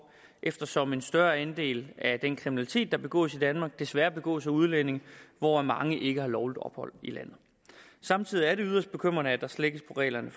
eftersom en større andel af den kriminalitet der begås i danmark desværre begås af udlændinge hvoraf mange ikke har lovligt ophold i landet samtidig er det yderst bekymrende at der slækkes på reglerne